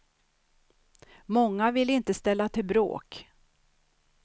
Många vill inte ställa till bråk.